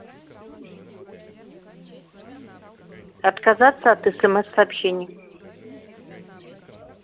отказаться от смс сообщений